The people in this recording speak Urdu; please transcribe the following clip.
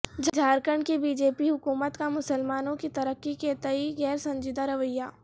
جھارکھنڈ کی بی جے پی حکومت کا مسلمانوں کی ترقی کے تئیں غیر سنجیدہ رویہ